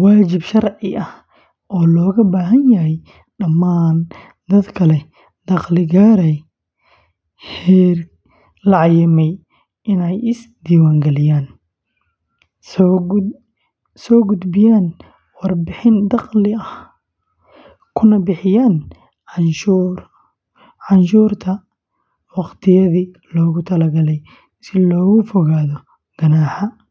waajib sharci ah oo looga baahan yahay dhammaan dadka leh dakhli gaaraya heer la cayimay inay is-diiwaangeliyaan, soo gudbiyaan warbixin dakhliga ah, kuna bixiyaan canshuurta waqtiyadii loogu talagalay si looga fogaado ganaaxyo.